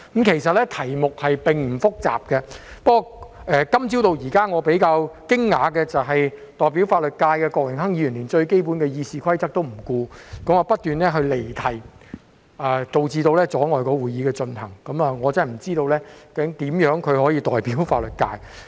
其實，這題目並不複雜，不過由今早到現在，令我比較驚訝的，是代表法律界的郭榮鏗議員連最基本的《議事規則》也不顧，不斷離題，阻礙會議的進行，我真的不知道他如何能夠代表法律界。